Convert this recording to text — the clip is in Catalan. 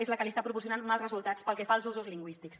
és la que li està proporcionant mals resultats pel que fa als usos lingüístics